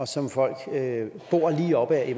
som folk bor lige op ad